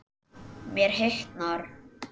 Mér hitnar.